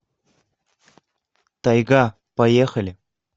тайга поехали